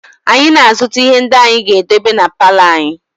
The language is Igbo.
Anyị na-azụta ihe ndị anyị ga-edebe na palọ anyị